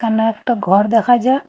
এখানে একটা ঘর দেখা যা--